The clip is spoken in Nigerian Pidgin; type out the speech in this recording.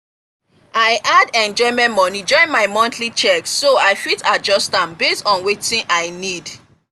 i add enjoyment money join my monthly check so i fit adjust am based on wetin i need.